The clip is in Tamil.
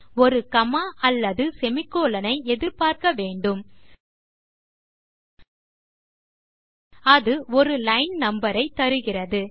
ஒரு காமா அல்லது செமிகோலன் ஐ எதிர்பார்க்க வேண்டும் அது ஒரு லைன் நம்பர் ஐ தருகிறது